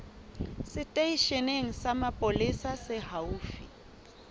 seteisheneng sa mapolesa se haufi